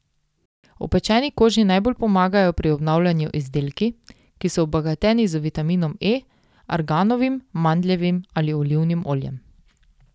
Opečeni koži najbolj pomagajo pri obnavljanju izdelki, ki so obogateni z vitaminom E, arganovim, mandljevim ali olivnim oljem.